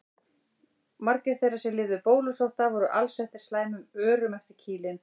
Margir þeirra sem lifðu bólusótt af voru alsettir slæmum örum eftir kýlin.